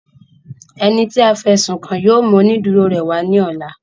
Ẹni tí a fí ẹ̀sùn kàn yóò mú oniduro rẹ̀ wá ní ọ̀la